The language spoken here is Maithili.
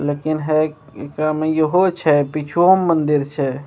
लेकिन हेय इ सब में इहो छै पीछूवो में मंदिर छै।